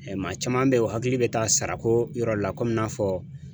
Maa caman be yen, u hakili be taa sarako yɔrɔ la n'a fɔ